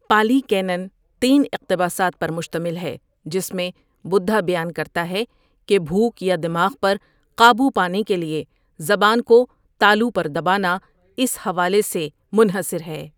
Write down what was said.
پالی canon تین اقتباسات پر مشتمل ہے جس میں بدھا بیان کرتا ہے کہ بھوک یا دماغ پر قابو پانے کے لیے زبان کو تالو پر دبانا، اس حوالے سے منحصر ہے